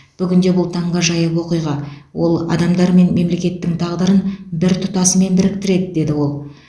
бүгінде бұл таңғажайып оқиға ол адамдар мен мемлекеттің тағдырын бір тұтасымен біріктіреді деді ол